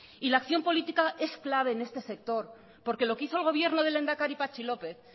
y la acción política es clave en este sector porque lo que hizo el gobierno del lehendakari patxi lópez